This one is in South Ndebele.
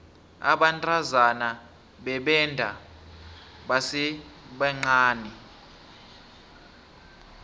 abantazana bebenda basesebancani